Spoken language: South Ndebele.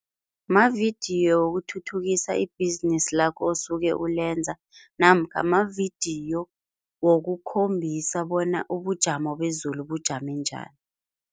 Mavidiyo wokuthuthukisa ibhizinisi lakho osuke ulenza namkha mavidiyo wokukhombisa bona ubujamo bezulu bujame njani.